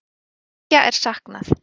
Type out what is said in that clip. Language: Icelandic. Þriggja er saknað